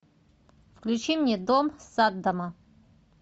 включи мне дом саддама